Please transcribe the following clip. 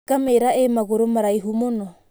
Ngamĩra ĩ magũrũ maraihu mũno.